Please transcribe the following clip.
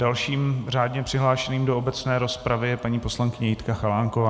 Dalším řádně přihlášeným do obecné rozpravy je paní poslankyně Jitka Chalánková.